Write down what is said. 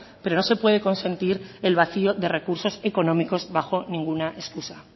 pero no se puede consentir el vacio de recursos económicos bajo ninguna escusa